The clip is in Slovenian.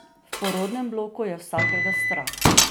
V porodnem bloku je vsakega strah.